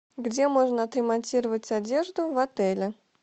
где можно отремонтировать одежду в отеле